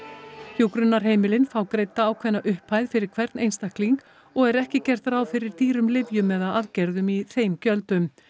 hjúkrunarheimilin fá greidda ákveðna upphæð fyrir hvern einstakling og er ekki gert ráð fyrir dýrum lyfjum eða aðgerðum í þeim gjöldum